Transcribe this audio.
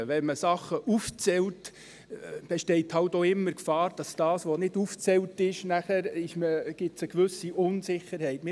Wenn man Sachen aufzählt, besteht halt auch immer die Gefahr, dass das, was nicht aufgezählt ist, zu einer gewissen Unsicherheit führt.